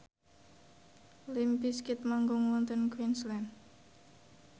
limp bizkit manggung wonten Queensland